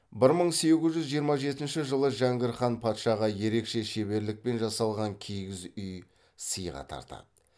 бір мың сегіз жүз жиырма жетінші жылы жәңгір хан патшаға ерекше шеберлікпен жасалған киіз үй сыйға тартады